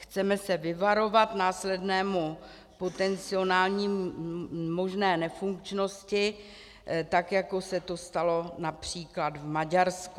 Chceme se vyvarovat následné potenciální možné nefunkčnosti, tak jako se to stalo například v Maďarsku.